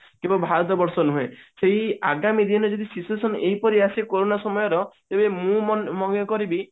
କି ଭାରତ ବର୍ଷ ନୁହେଁ ସେଇ ଆଗାମୀ ଦିନେ ଯଦି situation ଏହିପରି ଆସେ କୋରୋନା ସମୟର ତେବେ ମୁଁ ମନେ କରିବି